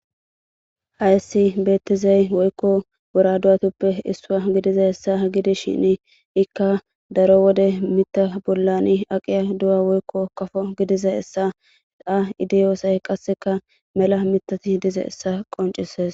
Hayssi beettizay woykko buraduwatuppe issua gidiza hessa gidi shin ikka daro wode mita bollani aqiya du7a woykko kafo gidiza hessa da idiyoosay qasseka mela mitati dize essa qoncisees.